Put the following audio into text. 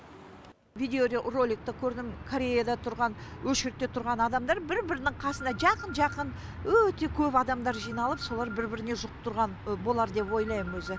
видеоророликті көрдім кореяда тұрған ошіредте тұрған адамдар бір бірінің қасына жақын жақын өте көп адамдар жиналып солар бір біріне жұқтырған болар деп ойлаймын өзі